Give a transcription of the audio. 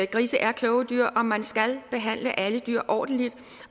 grise er kloge dyr og man skal behandle alle dyr ordentligt